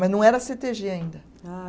Mas não era Cê Tê Gê ainda. Ah